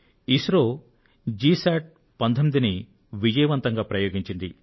ISRO GSAT 19ను విజయవంతంగా ప్రయోగించింది